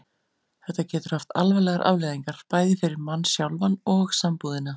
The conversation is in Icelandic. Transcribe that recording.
Það getur haft alvarlegar afleiðingar, bæði fyrir mann sjálfan og sambúðina.